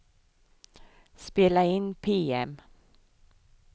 spela in PM